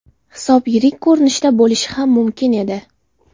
Hisob yirik ko‘rinishda bo‘lishi ham mumkin edi.